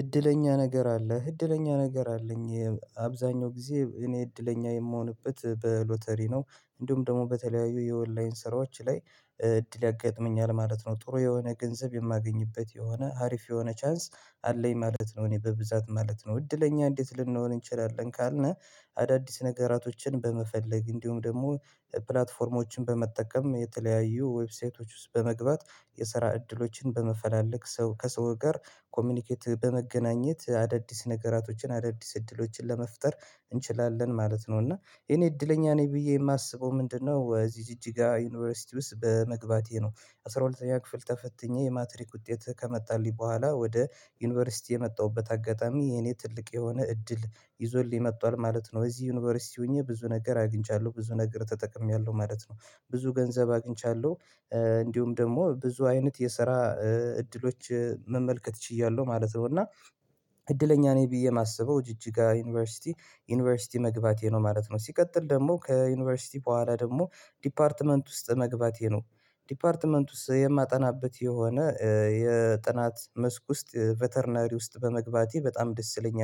እድለኛ ነገር አለህ እድለኛ ነገር አለኝ። አብዛኛው ጊዜ እኔ እድለኛ የምሆንበት በሎተሪ ነው። እንዲሁም ደግሞ በተለያዩ የኦንላይን ስራዎች ላይ እድል ያጋጥመኛል ማለት ነው። ጥሩ የሆነ ገንዘብ የማገኝበት የሆነ አሪፍ የሆነ ቻንስ አለኝ ማለት ነው። እኔ በብዛት ማለት ነው እድለኛ እንዴት ልንሆን እንችላለን ካልነ? አዳዲስ ነገራቶችን በመፈለግ እንዲሁም ደግሞ ፕላትፎርሞችን በመጠቀም የተለያዩ ዌብሳይቶች ውስጥ በመግባት የሰራ እድሎችን በመፈላለግ ሰው ከሰው ጋር ኮምንኬት አዳዲስ ነገራቶችን አዳዲስ እድሎችን ለመፍጠር እንችላለን ማለት ነው። እና እኔ እድለኛ ነኝ ብዬ የማስበው ምንድነው? እዚህ ጂጅጋ ዩኒቨርሲቲ ውስጥ በመግባቴ ነው። አስራ ሁለተኛ ክፍል ተፈትኜ የማትሪክ ውጤት ከመጣልኝ በኋላ ወደ ዩኒቨርሲቲ የመጣሁበት አጋጣሚ የኔ ትልቅ የሆነ እድል ይዞልኝ መጥቷል ማለት ነው። እዚህ ዩኒቨርሲቲ ሆኜ ብዙ ነገር አግኝቻለሁ ብዙ ነገር ተጠቅሜያለሁ ማለት ነው። ብዙ ገንዘብ አግኝቻለሁ። እንዲሁም ደግሞ ብዙ አይነት የሰራ እድሎች መመልከት ችያለሁ ማለት ነው። እና እድለኛ ነኝ ብዬ እማስበው ጅጅጋ ዩኒቨርሲቲ ዩኒቨርሲቲ መግባቴ ነው ማለት ነው። ሲቀጥል ደግሞ ከዩኒቨርሲቲ በኋላ ደግሞ ዲፓርትመንት ውስጥ መግባቴ ነው። ዲፓርትመንት ውስጥ የማጠናበት የሆነ የጥናት መስክ ውስጥ ቬተርናሪ ውስጥ በመግባቴ በጣም ደስተኛ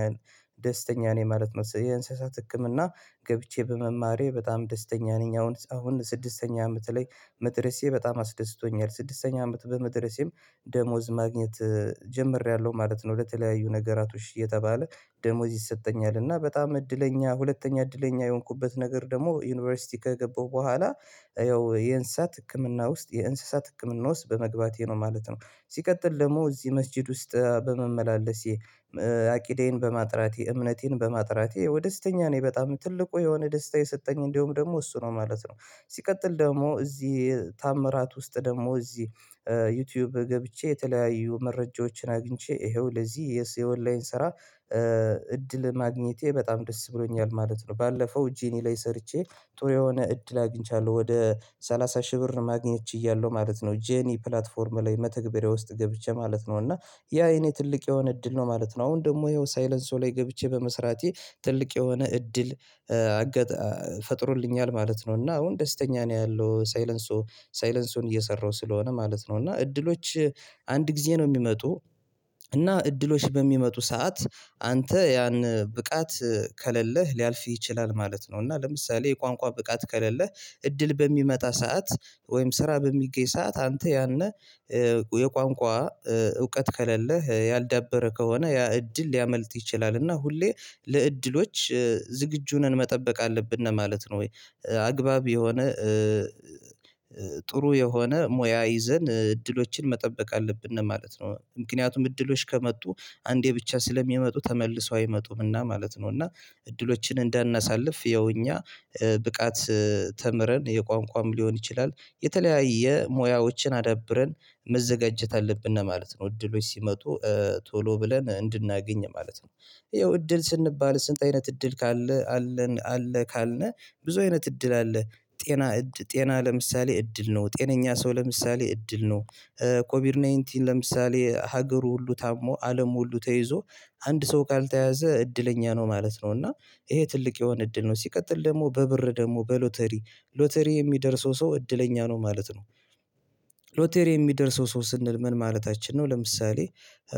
ደስተኛ ነኝ ማለት ነው። የእንስሳት ህክምና ገብቼ በመማሬ በጣም ደስተኛ ነኝ አሁን አሁን ስድስተኛ አመት ላይ መድረሴ በጣም አስደስቶኛል። ስድስተኛ አመት በመድረሴም ደሞዝ ማግኘት ጀምሬያለሁ ማለት ነው። ለተለያዩ ነገራቶች እየተባለ ደሞዝ ይሰጠኛል እና በጣም እድለኛ ሁለተኛ እድለኛ የሆንኩበት ነገር ደግሞ ዩኒቨርሲቲ ከገባሁ በኋላ ያው የእንስሳት ህክምና ውስጥ የእንስሳት ህክምና ውስጥ በመግባቴ ነው ማለት ነው። ሲቀጥል ደግሞ እዚህ መስጊድ ውስጥ በመመላለሴ አቅዴን በማጥራቴ እምነቴን በማጥራቴ ያው ደስተኛ ነኝ በጣም ትልቁ የሆነ ደስታ የሰጠኝ እንደውም ደግሞ እሱ ነው ማለት ነው። ሲቀጥል ደግሞ እዚህ ታምራት ውስጥ ደግሞ እዚህ ዩቲዩብ ገብቼ የተለያዩ መረጃዎችን አግኝቼ ይሄው ለዚህ የዚ የኦላይን ስራ እድል ማግኘቴ በጣም ደስ ብሎኛል ማለት ነው። ባለፈው ጀኒ ላይ ሰርቼ ጥሩ የሆነ እድል አግኝቻለሁ ወደ ሰላሳ ሺህ ብር ማግኘት ችያለሁ ማለት ነው። ጄኒ ፕላትፎርም ላይ መተግበሪያ ውስጥ ገብቼ ማለት ነው እና ያ የኔ ትልቅ የሆነ እድል ነው ማለት ነው። አሁን ደግሞ ይኸው ሳይለንሶ ላይ ገብቼ በመስራቴ ትልቅ የሆነ እድል ፈጥሮልኛል ማለት ነው። እና አሁን ደስተኛ ነው ያለው ሳይለንሶ ሳይለንሶን እየሰራው ስለሆነ ማለት ነው። እና እድሎች አንድ ጊዜ ነው እሚመጡ እና እድሎች በሚመጡ ሰዓት አንተ ያን ብቃት ከሌለህ ሊያልፍህ ይችላል ማለት ነው። እና ለምሳሌ የቋንቋ ብቃት ከሌለህ እድል በሚመጣ ሰዓት ወይም ስራ በሚገኝ ሰዓት አንተ ያን የቋንቋ እውቀት ከሌለህ ያልዳበረ ከሆነ ያ እድል ሊያመልጥህ ይችላል። እና ሁሌ ለእድሎች ዝግጁ ሁነን መጠበቅ አለብን ማለት ነው። ወይ? አግባብ የሆነ ጥሩ የሆነ ሙያ ይዘን እድሎችን መጠበቅ አለብን ማለት ነው። ምክንያቱም እድሎች ከመጡ አንዴ ብቻ ስለሚመጡ ተመልሰው አይመጡምና ማለት ነው። እና እድሎችን እንዳናሳልፍ ያው እኛ ብቃት ተምረን የቋንቋም ሊሆን ይችላል የተለያየ ሙያዎችን አዳብረን መዘጋጀት አለብን ማለት ነው። እድሎች ሲመጡ ቶሎ ብለን እንድናገኝ ማለት ነው። ያው እድል ስንባል ስንት አይነት እድል? አለ ካልን? ብዙ አይነት እድል አለ ጤና ጤና ለምሳሌ እድል ነው ጤነኛ ሰው ለምሳሌ እድል ነው። ኮቪድናይንቲን ለምሳሌ ሀገሩ ሁሉ ታሞ አለም ሁሉ ተይዞ አንድ ሰው ካልተያዘ እድለኛ ነው ማለት ነው። እና ይሄ ትልቅ የሆነ እድል ነው። ሲቀጥል ደግሞ በብር ደግሞ በሎተሪ ሎተሪ የሚደርሰው ሰው እድለኛ ነው ማለት ነው። ሎተሪ የሚደርሰው ሰው ስንል ምን ማለታችን ነው? ለምሳሌ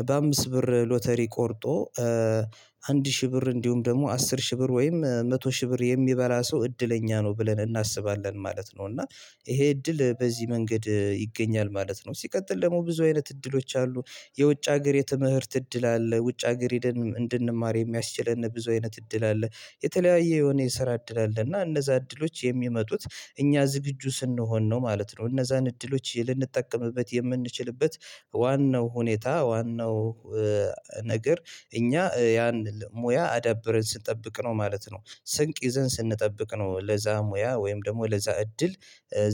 በአምስት ብር ሎተሪ ቆርጦ አንድ ሺህ ብር እንዲሁም ደግሞ አስር ሺህ ብር ወይም መቶ ሺህ ብር የሚበላ ሰው እድለኛ ነው ብለን እናስባለን ማለት ነው። እና ይሄ እድል በዚህ መንገድ ይገኛል ማለት ነው። ሲቀጥል ደግሞ ብዙ አይነት እድሎች አሉ። የውጭ ሀገር የትምህርት እድል አለ ውጭ ሀገር ሂደን እንድንማር የሚያስችለን ብዙ አይነት እድል አለ። የተለያየ የሆነ የስራ እድል አለ እና እነዛ እድሎች የሚመጡት እኛ ዝግጁ ስንሆን ነው ማለት ነው። እነዛን እድሎች ልንጠቀምበት የምንችልበት ዋናው ሁኔታ ዋናው ነገር እኛ ያን ሙያ አዳብረን ስንጠብቅ ነው ማለት ነው። ስንቅ ይዘን ስንጠብቅ ነው ለዛ ሙያ ወይም ደግሞ ለዛ እድል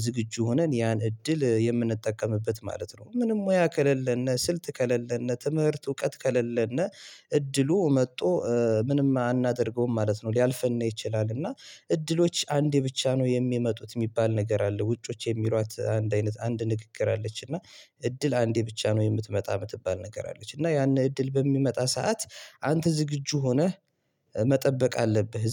ዝግጁ ሆነን ያን እድል የምንጠቀምበት ማለት ነው። ምንም ሙያ ከሌለን ስልት ከሌለን ትምህርት እውቀት ከሌለን እድሉ መጥቶ ምንም አናደርገውም ማለት ነው። ሊያልፍን ይችላል። እና እድሎች አንዴ ብቻ ነው የሚመጡት እሚባል ነገር አለ። ውጮች የሚሯት አንድ አይነት አንድ ንግግር አለች እና እድል አንዴ ብቻ ነው የምትመጣ የምትባል ነገር አለች። እና ያን እድል በሚመጣ ሰዓት አንተ ዝግጁ ሆነህ መጠበቅ አለብህ።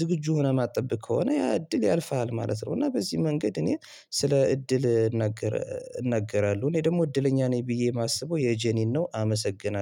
ዝግጁ ሆነህ ማጥበቅ ከሆነ ያ እድል ያልፍሃል ማለት ነው። እና በዚህ መንገድ እኔ ስለ እድል እናገር እናገራለሁ እኔ ደግሞ እድለኛ ነኝ ብዬ የማስበው የጄኒን ነው። አመሰግናለሁ